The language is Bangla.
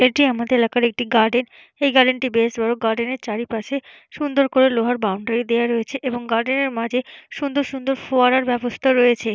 এটি আমাদের এলাকার একটি গার্ডেন এই গার্ডেন টি বেশ বড় গার্ডেন এর চারিপাশে সুন্দর করে লোহার বাউন্ডারি দেওয়া রয়েছে এবং গার্ডেন এর মাঝে সুন্দর সুন্দর ফোয়ারার ব্যবস্থা রয়েছে।